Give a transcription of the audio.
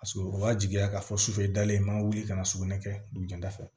Paseke o b'a jigiya k'a fɔ sufɛ dalen man wuli ka na sugunɛ kɛ dugujɛda fɛ